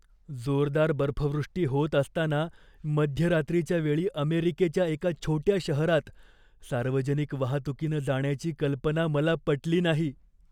जोरदार बर्फवृष्टी होत असताना मध्यरात्रीच्या वेळी अमेरिकेच्या एका छोट्या शहरात सार्वजनिक वाहतुकीनं जाण्याची कल्पना मला पटली नाही.